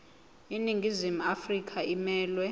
iningizimu afrika emelwe